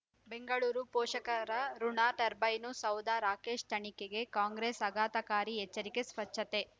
ಬೆಂಗಳೂರು ಪೋಷಕರಋಣ ಟರ್ಬೈನು ಸೌಧ ರಾಕೇಶ್ ತನಿಖೆಗೆ ಕಾಂಗ್ರೆಸ್ ಆಘಾತಕಾರಿ ಎಚ್ಚರಿಕೆ ಸ್ವಚ್ಛತೆ